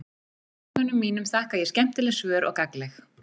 Heimildarmönnum mínum þakka ég skemmtileg svör og gagnleg.